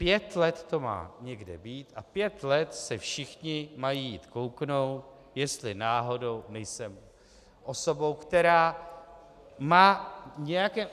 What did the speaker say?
Pět let to má někde být a pět let se všichni mají jít kouknout, jestli náhodou nejsem osobou, která má nějaké...